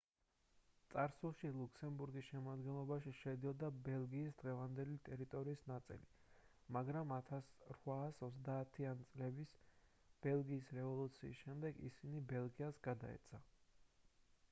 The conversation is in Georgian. წარსულში ლუქსემბურგის შემადგენლობაში შედიოდა ბელგიის დღევანდელი ტერიტორიის ნაწილი მაგრამ 1830-იანი წლების ბელგიის რევოლუციის შემდეგ ისინი ბელგიას გადაეცა